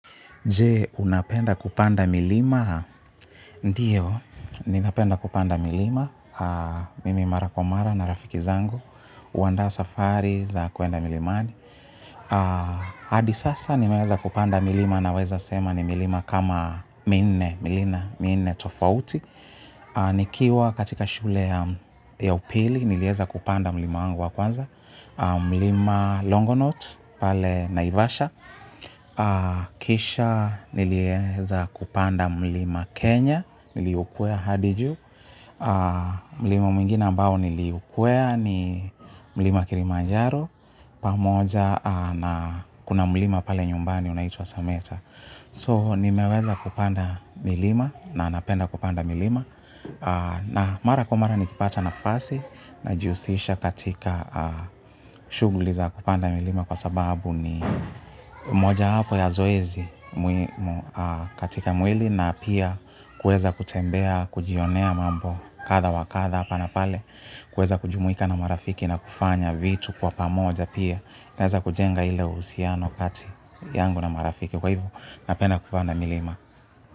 Jee, unapenda kupanda milima? Ndiyo, ninapenda kupanda milima. Mimi Mara Kwa mara na rafiki zangu. Uandaa safari za kwenda milimani. Hadi sasa nimeweza kupanda milima na weza sema ni milima kama minne, milina, minne tofauti. Nikiwa katika shule ya upili nilieza kupanda mlima wangu wa kwanza. Mlima Longonot, pale Naivasha. Kisha nilieza kupanda mlima Kenya, niliukwea hadi juu. Mlima mwingine ambao niliukwea ni mlima Kilimanjaro. Pamoja na kuna mlima pale nyumbani unaitwa Sameta So nimeweza kupanda milima na napenda kupanda milima. Na mara kwa mara nikipata na fasi najihusisha katika shughli za kupanda milima kwa sababu ni moja wapo ya zoezi muhimu katika mwili na pia kuweza kutembea, kujionea mambo katha wakatha hapa na pale kuweza kujumuika na marafiki na kufanya vitu kwa pamoja pia naeza kujenga ile uhusiano kati yangu na marafiki kwa hivo napenda kupanda milima.